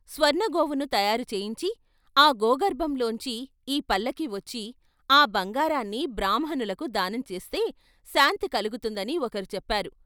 స్వర్ణ గోవును తయారు చేయించి ఆ గోగర్భంలోంచి ఈ పల్లకి వచ్చి ఆ బంగారాన్ని బ్రాహ్మణులకు దానం చేస్తే శాంతి కలుగుతుందని ఒకరు చెప్పారు.